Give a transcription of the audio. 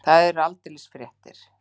Það eru aldeilis fréttir.